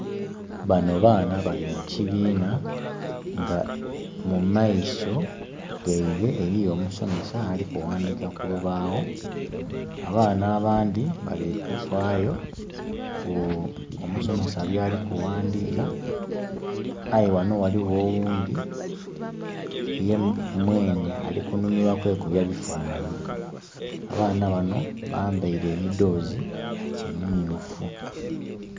Bano baana bali mu kibiina nga mu maiso gaibwe eliyo omusomesa ali kughandika ku lubaagho. Abaana abandhi bali kufaayo ku omusomesa byali kughandika. Aye ghano ghaligho oghundi ye mwenhe ali kunhumilwa kwekubya bifaanani. Abaana bano bambaile emidhoozi emimyuufu.